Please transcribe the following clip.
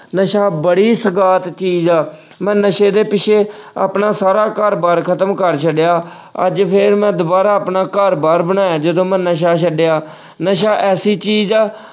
ਨਸ਼ਾ ਬੜੀ ਚੀਜ਼ ਆ, ਮੈਂ ਨਸ਼ੇ ਦੇ ਪਿੱਛੇ ਆਪਣਾ ਸਾਰਾ ਘਰ ਬਾਰ ਖ਼ਤਮ ਕਰ ਛੱਡਿਆ ਅੱਜ ਫੇਰ ਮੈਂ ਦੁਬਾਰਾ ਆਪਣਾ ਘਰ ਬਾਰ ਬਣਾਇਆ ਜਦੋਂ ਮੈਂ ਨਸ਼ਾ ਛੱਡਿਆ। ਨਸ਼ਾ ਐਸੀ ਚੀਜ਼ ਆ